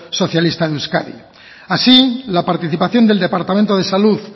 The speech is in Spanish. socialista de euskadi así la participación del departamento de salud